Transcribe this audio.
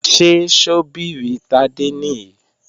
Ṣé ṣọ́bìrì Tádé nìí?